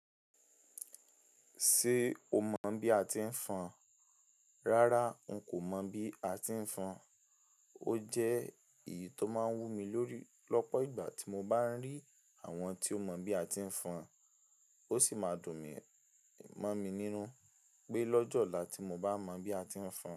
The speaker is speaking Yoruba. Ṣé o mọ bí a ti ń fọn? Rárá n kò mọ̀ bí a ti ń fọn. O jẹ èyí tó máa ń wú mi lórí lọ́pọ̀ ìgbà tí mo bá ń rí àwọn tí o mọ bí a ti ń fọn. Ó sì máa dùn mọ́ mi nínú pé lọ́jọ́ ọ̀la tí mo bá mọ bí a ti ń fọn.